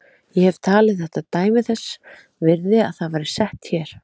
Ég hef talið þetta dæmi þess virði að það væri sett hér.